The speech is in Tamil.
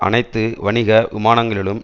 அனைத்து வணிக விமானங்களிலும்